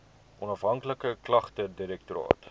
onafhanklike klagtedirektoraat